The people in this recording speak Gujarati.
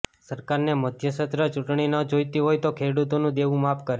સરકારને મધ્યસત્ર ચૂંટણી ન જોઇતી હોય તો ખેડૂતોનું દેવું માફ કરે